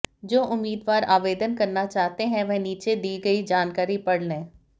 जो उम्मीदवार आवेदन करना चाहते हैं वह नीचे दी गई जानकारी पढ़ लें और